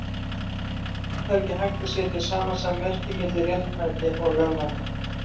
Það er ekki hægt að setja samasemmerki milli réttmæti og lögmæti.